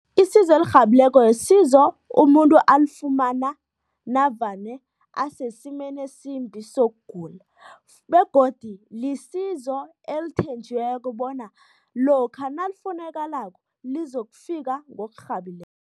Isizo elirhabileko yisizo umuntu alifumana navane asesimeni esimbi sokugula begodi lisizo elithenjiweko bona lokha nalifunakalako, lizokufika